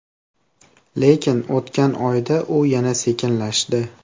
Lekin, o‘tgan oyda u yana sekinlashdi.